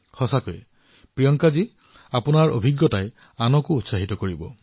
সঁচাকৈয়ে প্ৰিয়ংকাজী আপোনাৰ এই অনুভৱে আনকো অনুপ্ৰেৰিত কৰিব